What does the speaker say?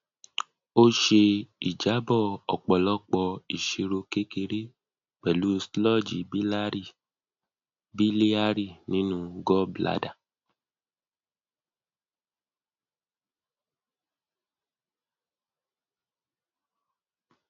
ó ṣe ìjábọ ọpọlọpọ ìṣirò kékeré pẹlú sludge biliary nínú gallbladder